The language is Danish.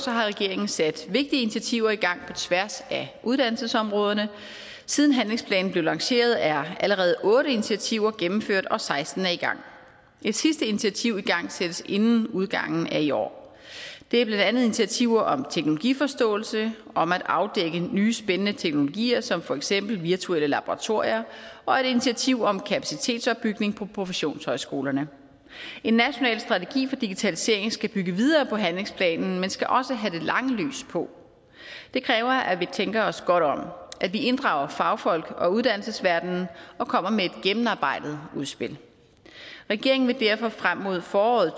har regeringen sat vigtige initiativer i gang på tværs af uddannelsesområderne siden handlingsplanen blev lanceret er allerede otte initiativer gennemført og seksten er i gang et sidste initiativ igangsættes inden udgangen af i år det er blandt andet initiativer om teknologiforståelse om at afdække nye spændende teknologier som for eksempel virtuelle laboratorier og et initiativ om kapacitetsopbygning på professionshøjskolerne en national strategi for digitalisering skal bygge videre på handlingsplanen men skal også have det lange lys på det kræver at vi tænker os godt om at vi inddrager fagfolk og uddannelsesverdenen og kommer med et gennemarbejdet udspil regeringen vil derfor frem mod foråret